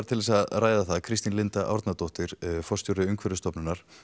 til að ræða það eru komnar Kristín Linda Árnadóttir forstjóri Umhverfisstofunar